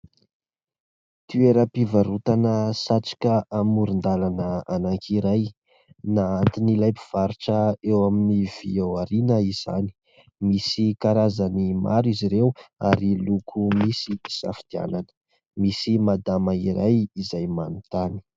Toeram-pivarotana satroka amoron-dalana anankiray, nahanton'ilay mpivarotra eo amin'ny vỳ aoriana izany. Misy karazany maro izy ireo ary loko misy hisafidianana. Misy madama iray izay manontany.